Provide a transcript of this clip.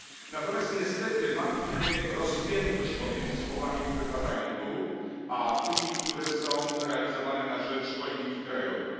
Natomiast niestety martwi mnie rozpiętość pomiędzy słowami, które padają tu, a tymi, które są realizowane na rzecz polityki krajowej.